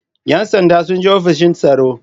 ‘Yan sandan sun je ofishin tsaro.